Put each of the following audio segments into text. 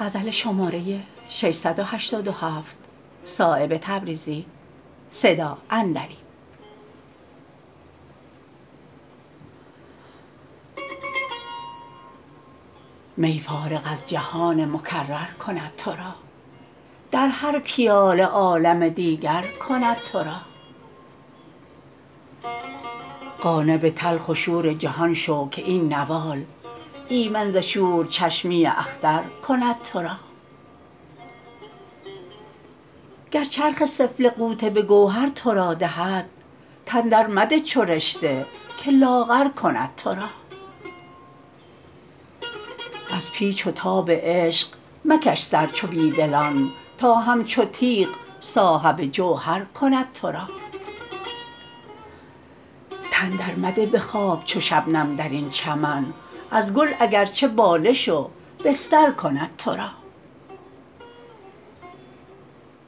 می فارغ از جهان مکرر کند ترا در هر پیاله عالم دیگر کند ترا قانع به تلخ و شور جهان شو که این نوال ایمن ز شور چشمی اختر کند ترا گر چرخ سفله غوطه به گوهر ترا دهد تن در مده چو رشته که لاغر کند ترا از پیچ و تاب عشق مکش سر چو بیدلان تا همچو تیغ صاحب جوهر کند ترا تن در مده به خواب چو شبنم درین چمن از گل اگر چه بالش و بستر کند ترا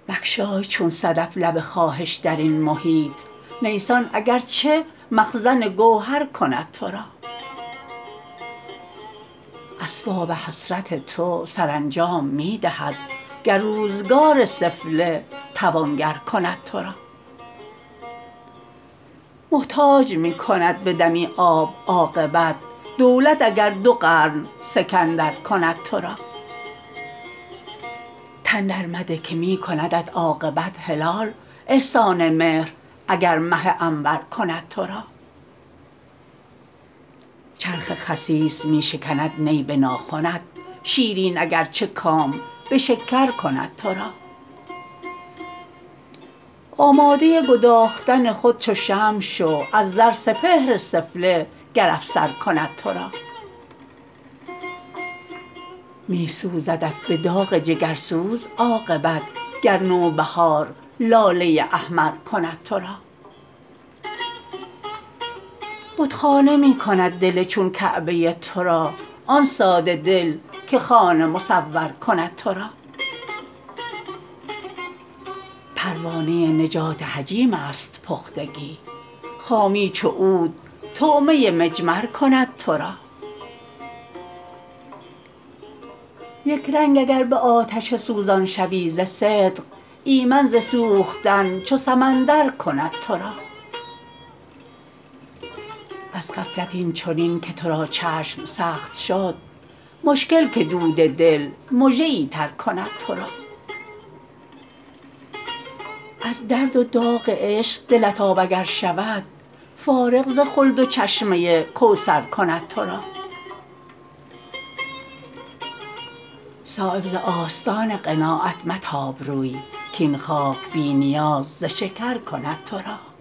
مگشای چون صدف لب خواهش درین محیط نیسان اگر چه مخزن گوهر کند ترا اسباب حسرت تو سرانجام می دهد گر روزگار سفله توانگر کند ترا محتاج می کند به دمی آب عاقبت دولت اگر دو قرن سکندر کند ترا تن در مده که می کندت عاقبت هلال احسان مهر اگر مه انور کند ترا چرخ خسیس می شکند نی به ناخنت شیرین اگر چه کام به شکر کند ترا آماده گداختن خود چو شمع شو از زر سپهر سفله گر افسر کند ترا می سوزدت به داغ جگرسوز عاقبت گر نوبهار لاله احمر کند ترا بتخانه می کند دل چون کعبه ترا آن ساده دل که خانه مصور کند ترا پروانه نجات جحیم است پختگی خامی چو عود طعمه مجمر کند ترا یکرنگ اگر به آتش سوزان شوی ز صدق ایمن ز سوختن چو سمندر کند ترا از غفلت این چنین که ترا چشم سخت شد مشکل که دود دل مژه ای تر کند ترا از درد و داغ عشق دلت آب اگر شود فارغ ز خلد و چشمه کوثر کند ترا صایب ز آستان قناعت متاب روی کاین خاک بی نیاز ز شکر کند ترا